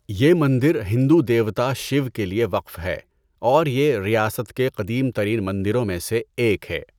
یہ مندر ہندو دیوتا شیو کے لیے وقف ہے اور یہ ریاست کے قدیم ترین مندروں میں سے ایک ہے۔